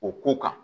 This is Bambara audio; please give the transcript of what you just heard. O ko kan